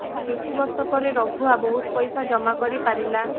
କିଛି ବର୍ଷ ପରେ ରଘୁଆ ବହୁତ ପଇସା ଜମା କରି ପାରିଲା